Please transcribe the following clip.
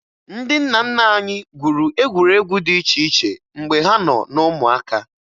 Ndị nna nna anyị gwuru egwuregwu dị iche iche mgbe ha nọ na ụmụaka